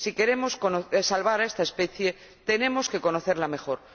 Si queremos salvar a esta especie, tenemos que conocerla mejor.